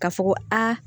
Ka fɔ ko aa